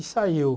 E saiu.